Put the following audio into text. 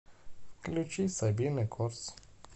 включи сабина корс